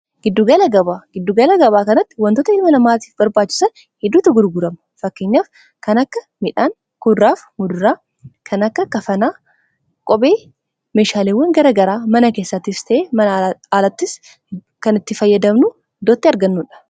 giddugaala gabaa kanatti wantoota ilmaa namaatiif barbaachiisan hedduutu gurguraamu fakkenyaaf kan akka midhaan kuduuraaf muduraa kan akka kafanaa qobee meshaalewwan gara garaa mana keessaatiis ta'ee mana alattis kan itti fayyadamnu idoo itti argannuudha